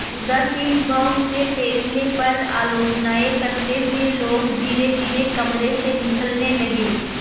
उदासीन भाव से फैसले पर आलोचनाऍं करते हुए लोग धीरेधीरे कमरे से निकलने लगे